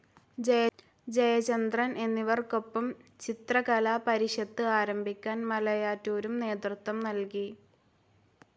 ജയചന്ദ്രൻ എന്നിവർക്കൊപ്പം ചിത്രകലാപരിഷത്ത് ആരംഭിക്കാൻ മലയാറ്റൂരും നേതൃത്വം നൽകി.